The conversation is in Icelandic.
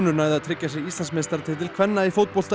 næðu að tryggja sér Íslandsmeistaratitil kvenna í fótbolta